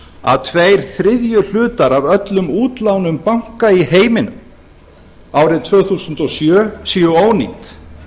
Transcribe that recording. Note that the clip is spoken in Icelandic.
að tveir þriðju hlutar af öllum útlánum banka í heiminum árið tvö þúsund og sjö séu ónýt